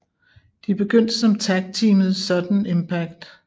De begyndte som tagteamet Sudden Impact